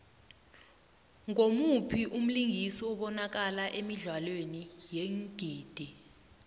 ngumuphi umlingisi obanakala emidlalweni yeengidi